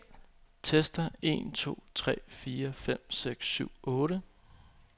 Tester en to tre fire fem seks syv otte.